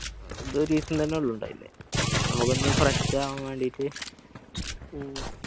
ഏർ ഞമ്മള് ഒരു ദിവസം തന്നെ ഇണ്ടായില്ലേ നമ്മൾകൊന്ന് fresh അവൻ വേണ്ടീട്ട് ഉം